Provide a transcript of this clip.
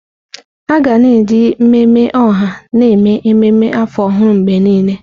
Aga na-eji mmemme ọha na-eme ememme afọ ọhụrụ mgbe niile.